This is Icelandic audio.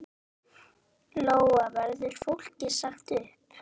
Út af pressu þá?